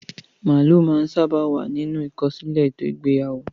Màálù máa ń sábà wà nínú ìkọsílẹ̀ ètò ìgbéyàwó.